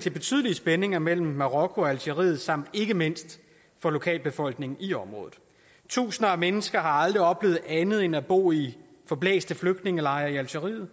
til betydelige spændinger mellem marokko og algeriet samt ikke mindst for lokalbefolkningen i området tusinder af mennesker har aldrig oplevet andet end at bo i forblæste flygtningelejre i algeriet